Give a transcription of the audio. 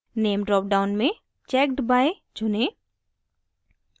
name dropdown में checked by चुनें